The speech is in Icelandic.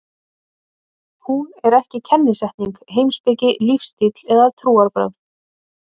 Hún er ekki kennisetning, heimspeki, lífstíll eða trúarbrögð.